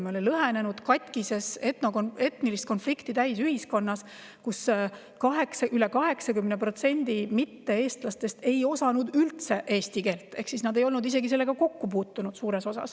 Me olime lõhenenud, katkises, etnilist konflikti täis ühiskonnas, kus üle 80% mitte-eestlastest ei osanud üldse eesti keelt ehk nad ei olnud suures osas sellega isegi kokku puutunud.